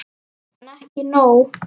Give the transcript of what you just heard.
En ekki nóg.